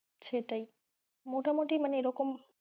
সেটাই মোটামোটি মানে এরকম,